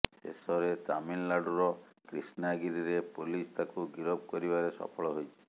ଶେଷରେ ତାମିଲନାଡୁର କ୍ରିଷ୍ଣାଗିରିରେ ପୋଲିସ ତାକୁ ଗିରଫ କରିବାରେ ସଫଳ ହୋଇଛି